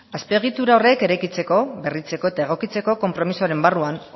azpiegitura horrek eraikitzeko berritzeko eta egokitzeko konpromisoen barruan